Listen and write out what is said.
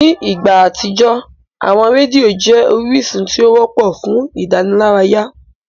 Ní ìgbà àtijọ́, àwọn rédíò jẹ́ orísun tí ó wọ́pọ̀ fún ìdánilárayá.